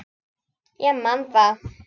Ég man það.